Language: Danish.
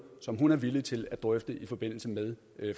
som hun er villig til at drøfte i forbindelse med